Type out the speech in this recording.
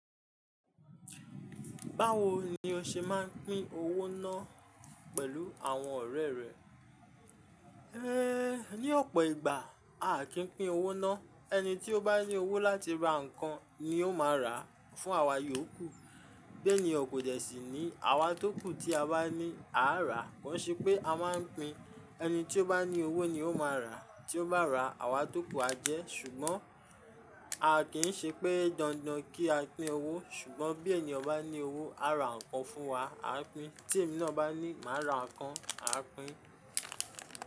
Báwo ni o ṣe máa ń pín owó náà pẹ̀lú àwọn ọ̀rẹ́ rẹ? Ëé, ní ọ̀pọ̀ ìgbà, a kì ń pín owó ná. Ẹni tí ó bá ní owó láti ra nǹkan ni ó máa rà fún àwa yòókù. Bi eniyan kò dẹ́ sì ni àwa tókù tí a bá ní, a á rà. Kò ṣe pé a máa ń pín, ẹni tí ó bá ní owó ni ó máa rà, tí ó bá rà, àwa tókù á jẹ́. Ṣùgbọ́n a kì í ṣe pé dandan kí a pín owó, ṣùgbọ́n bí ènìyàn bá ní owó, á ra nǹkan fún wa, a pín. Tí èmi náà bá ní, màá ra nǹkan, a pín.